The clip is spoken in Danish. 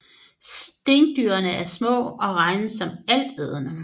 Stinkdyrene er små og regnes som altædende